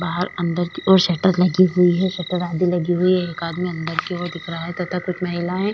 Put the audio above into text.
बाहर अंदर की दो शटर लगी हुई है शटर आधी लगी हुई है एक आदमी अंदर की ओर दिख रही है तथा कुछ महिलाये --